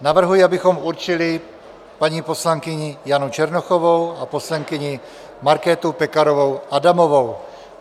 Navrhuji, abychom určili paní poslankyni Janu Černochovou a poslankyni Markétu Pekarovou Adamovou.